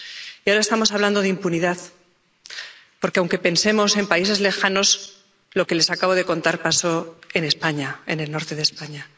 Y ahora estamos hablando de impunidad, porque, aunque pensemos en países lejanos, lo que les acabo de contar pasó en España, en el norte de España.